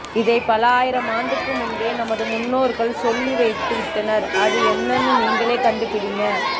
இதை பல ஆயிரம் ஆன்டுக்கு முன்பே நமது முன்னோர்கள் சொல்லி வைத்து விட்டனர் அது என்னனு நீங்களே கன்டு பிடிங்க